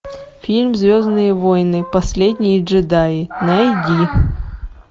фильм звездные войны последние джедаи найди